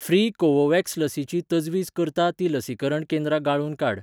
Free Covovax लसीची तजवीज करता तीं लसीकरण केंद्रां गाळून काड.